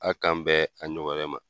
A' k'an bɛn a ɲɔgɔn wɛrɛ ma.